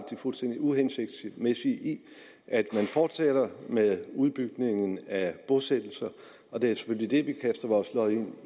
fuldstændig uhensigtsmæssige i at man fortsætter med udbygningen af bosættelser og det er selvfølgelig det vi kaster vores lod ind